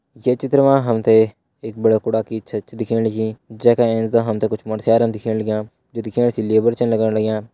ये चित्र मा हमते एक बड़ा कुड़ा की छत दिख्येण लगीं जेँका ऐंच डा हमते कुछ मरस्यरन दिख्येण लाग्यां जो दिख्येण से लेबर छै लगण लाग्यां।